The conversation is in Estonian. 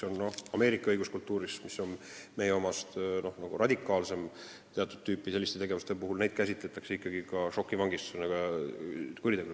Ameerika õiguskultuuris, mis on meie omast teatud tüüpi tegevuste puhul radikaalsem, käsitletakse neid ikkagi kuritegudena.